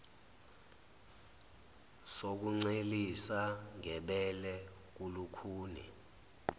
sokuncelisa ngebele kulukhuni